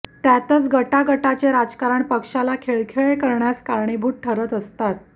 त्यातच गटागटाचे राजकारण पक्षाला खिळखिळे करण्यास कारणीभूत ठरत असतात